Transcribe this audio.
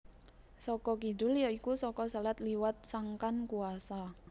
Saka kidul ya iku saka selat liwat sangkan kuwasa